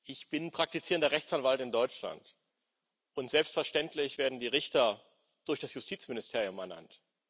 Ich bin praktizierender Rechtsanwalt in Deutschland, und selbstverständlich werden die Richter durch das Justizministerium ernannt.